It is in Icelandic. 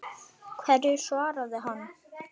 Hverju svaraði hann?